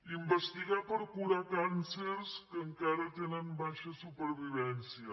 investigar per curar càncers que encara tenen baixa supervivència